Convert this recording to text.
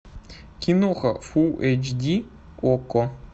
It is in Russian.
киноха фул эйч ди окко